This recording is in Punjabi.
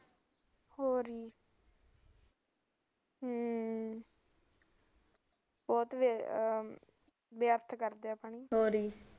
ਹੋਰ ਹਮ ਬਹੁਤ ਵਿਅਰਥ ਕਰਦੇ ਐ